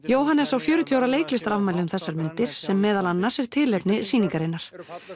Jóhannes á fjörutíu ára leiklistarafmæli um þessar mundir sem meðal annars er tilefni sýningarinnar